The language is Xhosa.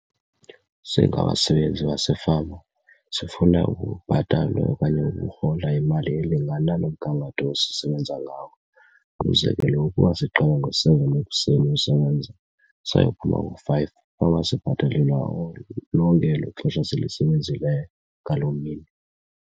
Singabasebenzi basefama sifuna ukubhatalwa okanye ukurhola imali elingana nomgangatho esisebenza ngawo. Umzekelo, ukuba siqale ngo-seven ekuseni usebenza sayophuma ngo-five fanuba sibhatalelwa lonke elo xesha silisebenzileyo ngaloo mini.